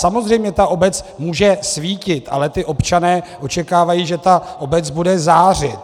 Samozřejmě ta obec může svítit, ale ti občané očekávají, že ta obec bude zářit.